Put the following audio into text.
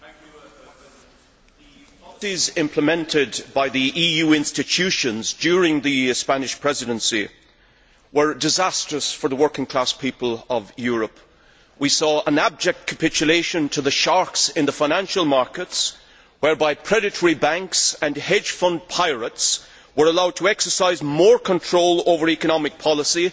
Mr President, the policies implemented by the EU institutions during the Spanish Presidency were disastrous for the working class people of Europe. We saw an abject capitulation to the sharks in the financial markets, whereby predatory banks and hedge fund pirates were allowed to exercise more control over economic policy